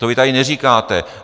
To vy tady neříkáte.